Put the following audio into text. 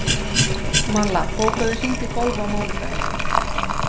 Malla, bókaðu hring í golf á mánudaginn.